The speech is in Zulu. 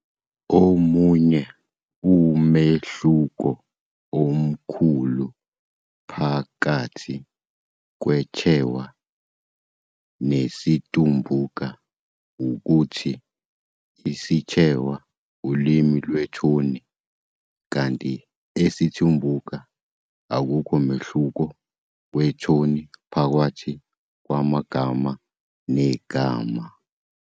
Omunye umehluko omkhulu phakathi kweChewa nesiTumbuka ukuthi isiChewa ulimi lwethoni, kanti esiTumbuka akukho mehluko wethoni phakathi kwegama negama.